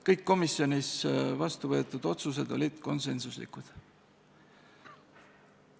Kõik komisjonis vastu võetud otsused olid konsensuslikud.